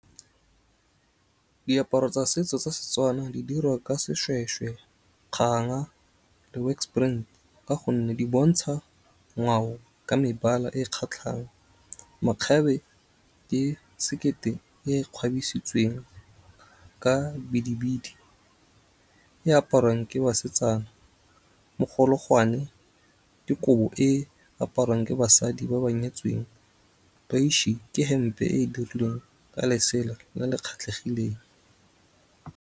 Diaparo tsa setso tsa Setswana di dirwa ka seshweshwe, kganga, le works print. Ka gonne di bontsha ngwao, ka mebala e kgatlhang. Makgabe ke sekete, e ka bidibidi, e aparwang ke basetsana, mogologwane, ke kobo e aparwang ke basadi ba ba nyetsweng. ke hempe e e dirilweng ka lesela le le kgethegileng.